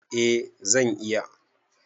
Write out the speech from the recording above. A zan iya